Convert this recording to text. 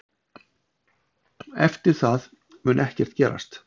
Eftir það mun ekkert gerast.